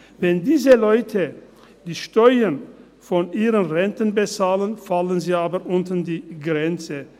Wenn diese Leute die Steuern von ihren Renten bezahlen, fallen sie aber unter die Grenze.